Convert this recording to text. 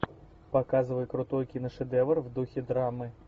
показывай крутой киношедевр в духе драмы